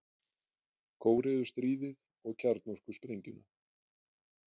Kóreustríðið og kjarnorkusprengjuna.